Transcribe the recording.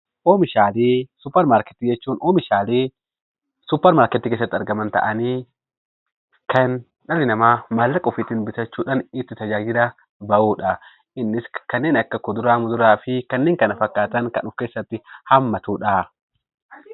Oomishaalee suupermaarkeetii jechuun oomishaalee suupermaarkeetii keessatti argaman ta'anii, kan dhalli namaa maallaqa ofiitiin bitachuudhaan itti tajaajila bahudha. Innis kanneen akka kuduraa, muduraa fi kanneen kana fakkaatan kan of keessatti hammatudha.